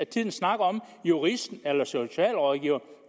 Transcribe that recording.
tiden snakket om juristen eller socialrådgiveren